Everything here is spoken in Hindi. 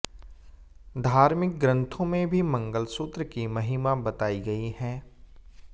धार्मिक ग्रंथों में भी मंगलसूत्र की महिमा बताई गई है